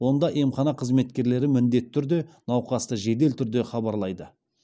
онда емхана қызметкерлері міндетті түрде науқасты жедел түрде хабарлайды